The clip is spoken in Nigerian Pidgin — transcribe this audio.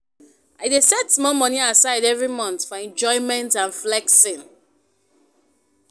I dey set small money aside every month for enjoyment and flexing.